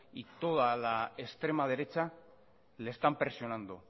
y toda la extrema derecha le están presionando